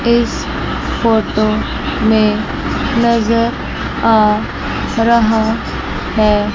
इस फोटो में नजर आ रहा है।